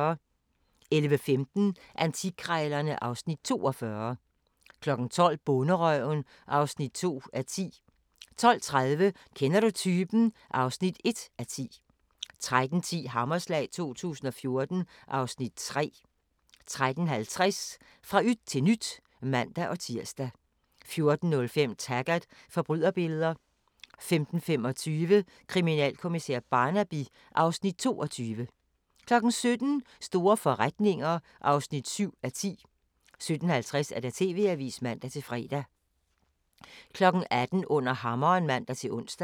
11:15: Antikkrejlerne (Afs. 42) 12:00: Bonderøven (2:10) 12:30: Kender du typen? (1:10) 13:10: Hammerslag 2014 (Afs. 3) 13:50: Fra yt til nyt (man-tir) 14:05: Taggart: Forbryderbilleder 15:25: Kriminalkommissær Barnaby (Afs. 22) 17:00: Store forretninger (7:10) 17:50: TV-avisen (man-fre) 18:00: Under hammeren (man-ons)